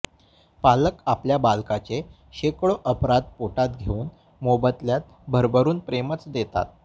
पालक आपल्या बालकाचे शेकडो अपराध पोटात घेऊन मोबदल्यात भरभरून प्रेमच देतात